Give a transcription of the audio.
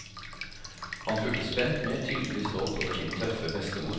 Han fulgte spent med, tydelig stolt over sin tøffe bestemor.